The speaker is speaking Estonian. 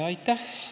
Aitäh!